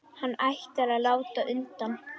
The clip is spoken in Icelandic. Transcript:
Hann ætlar að láta undan.